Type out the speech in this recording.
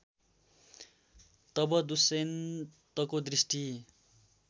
तब दुष्यन्तको दृष्टि